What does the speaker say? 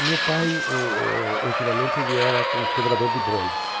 O meu pai, uh uh ultimamente, era com cobrador de bondes.